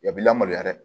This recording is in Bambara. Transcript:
Yan b'i lamaloya dɛ